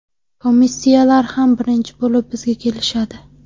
Komissiyalar ham birinchi bo‘lib bizga kelishadi.